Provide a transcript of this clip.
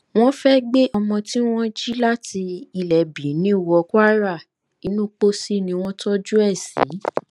wọn fẹẹ gbé ọmọ tí wọn jí láti ilé benin wọ kwara inú pósí ni wọn tọjú ẹ sí